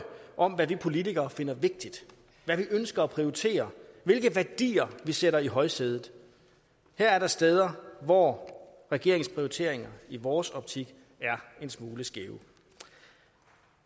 om hvad vi politikere finder vigtigt hvad vi ønsker at prioritere hvilke værdier vi sætter i højsædet her er der steder hvor regeringens prioriteringer i vores optik er en smule skæve